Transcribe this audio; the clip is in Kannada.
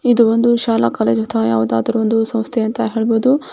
ಇದೊಂದು ಶಾಲಾ ಕಾಲೇಜಿನ ತರ ಯಾವುದಾದರೂ ಒಂದು ಸಂಸ್ಥೆ ಅಂತ ಹೇಳಬಹುದು.